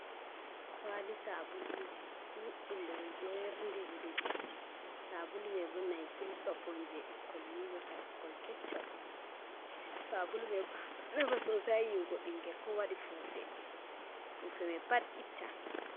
''Kwaali'' saabuluuji ɗuɗɗum ɓe ɗo jeernindiri ɗi. saabulu may bo ''naysil soap'' on jey ɓikkoy yiiwirta, ɓikkoy keccoy. Saabulu may ɗo nafa ''soosai'' haa yiiwugo binngel koo waɗi puufe, puufe may pat itta.